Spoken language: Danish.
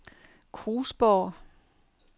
Krusborg